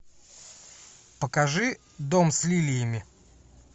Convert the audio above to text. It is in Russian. покажи дом с лилиями